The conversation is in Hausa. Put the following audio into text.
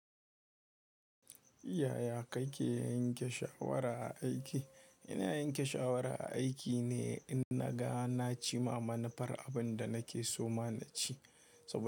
Yaya kake yanke shawara a aiki? Ina yanke shawara a aiki ne in naga na ci ma manufar abin da nake so ma na ci. Saboda.